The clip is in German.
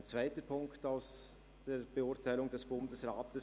Ein zweiter Punkt aus der Beurteilung des Bundesrats: